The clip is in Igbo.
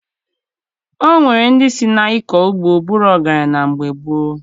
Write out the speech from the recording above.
O nwere ndị si na-ịkọ ugbo bụrụ ọgaranya na mgbe gboo